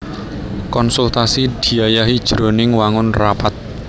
Konsultasi diayahi jroning wangun rapat